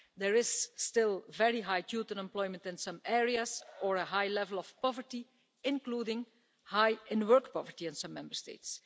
There is still very high youth unemployment in some areas or a high level of poverty, including high in work poverty in some Member States.